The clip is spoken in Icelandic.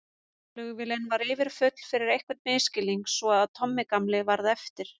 Flugvélin var yfirfull fyrir einhvern misskilning svo að Tommi gamli varð eftir.